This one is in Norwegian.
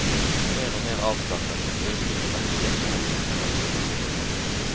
Mer og mer avslappet og døsig for hvert trinn i renseprosessen.